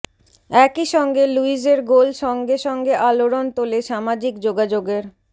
একইসঙ্গে লুইজের গোল সঙ্গে সঙ্গে আলোড়ন তোলে সামাজিক যোগাযোগের